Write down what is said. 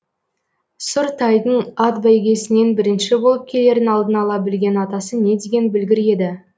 сұр тайдың ат бәйгесінен бірінші болып келерін алдын ала білген атасы не деген білгір еді